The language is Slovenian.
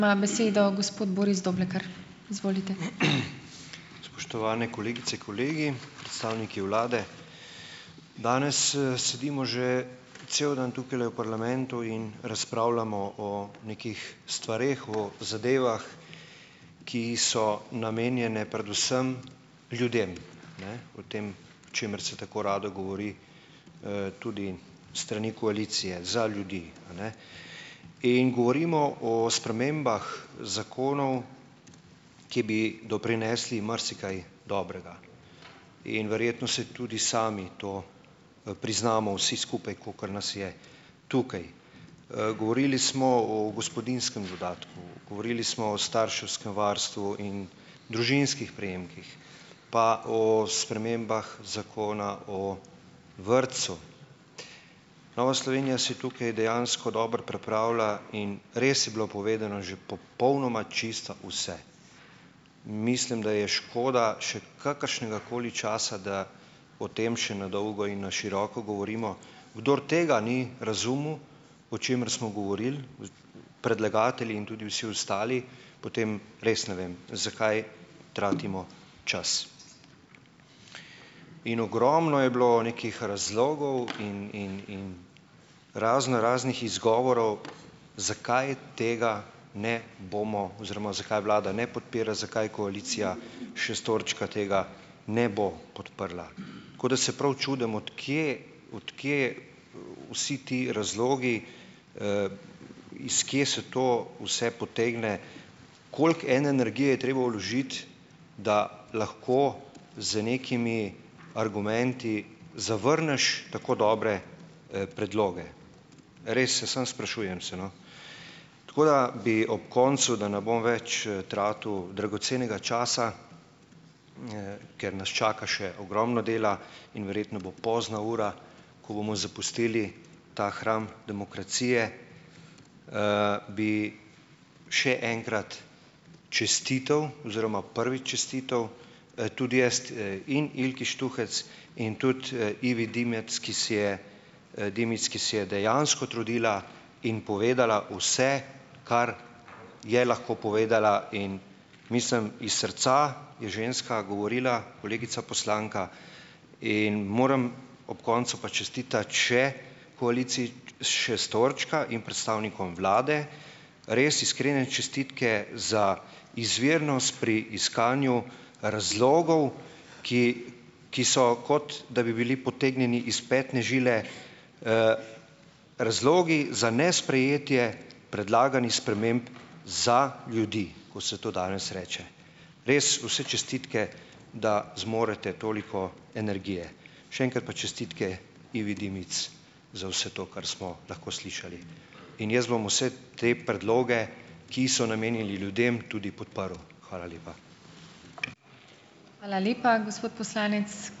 Spoštovane kolegice, kolegi, predstavniki vlade! Danes, sedimo že cel dan tukajle v parlamentu in razpravljamo o nekih stvareh, o zadevah, ki so namenjene predvsem ljudem, ne, o tem, o čemer se tako rado govori, tudi strani koalicije, za ljudi, a ne. In govorimo o spremembah zakonov, ki bi doprinesli marsikaj dobrega. In verjetno si tudi sami to, priznamo vsi skupaj, kolikor nas je tukaj. Govorili smo o gospodinjskem dodatku, govorili smo o starševskem varstvu in družinskih prejemkih, pa o spremembah zakona o vrtcu. Nova Slovenija se je tukaj dejansko dobro pripravila in res je bilo povedano že popolnoma čisto vse. Mislim, da je škoda še kakršnegakoli časa, da o tem še na dolgo in na široko govorimo. Kdor tega ni razumel, o čemer smo govorili, predlagatelji in tudi vsi ostali, potem res ne vem, zakaj tratimo čas. In ogromno je bilo nekih razlogov in in in razno raznih izgovorov, zakaj tega ne bomo oziroma zakaj vlada ne podpira, zakaj koalicija šestorčka tega ne bo podprla. Tako da se prav čudim, od kje od kje vsi ti razlogi, iz kje se to vse potegne, koliko ene energije je treba vložiti, da lahko z nekimi argumenti zavrneš tako dobre, predloge. Res se samo sprašujem se, no. Tako da bi ob koncu, da ne bom več, tratil dragocenega časa, ker nas čaka še ogromno dela in verjetno bo pozna ura, ko bomo zapustili ta hram demokracije, bi še enkrat čestital oziroma prvi čestital, tudi jaz, in Ilki Štuhec in tudi, Ivi Dimic, ki si je, Dimic, ki si je dejansko trudila in povedala vse, kar je lahko povedala. In mislim iz srca je ženska govorila, kolegica poslanka. In moram ob koncu pa čestitati še koaliciji šestorčka in predstavnikom vlade, res iskrene čestitke za izvirnost pri iskanju razlogov, ki so, kot da bi bili potegnjeni iz petne žile, razlogi za nesprejetje predlaganih sprememb za ljudi, kot se to danes reče. Res vse čestitke, da zmorete toliko energije. Še enkrat pa čestitke Ivi Dimic za vse to, kar smo lahko slišali. In jaz bom vse te predloge, ki so namenjeni ljudem, tudi podprl. Hvala lepa.